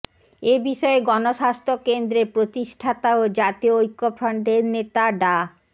এ বিষয়ে গণস্বাস্থ্য কেন্দ্রের প্রতিষ্ঠাতা ও জাতীয় ঐক্যফ্রন্টের নেতা ডা